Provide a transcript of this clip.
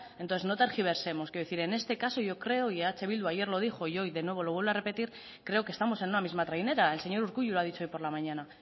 entonces no tergiversemos quiero decir en este caso yo creo y eh bildu ayer lo dijo y hoy de nuevo lo vuelve a repetir creo que estamos en una misma trainera el señor urkullu lo ha dicho hoy por la mañana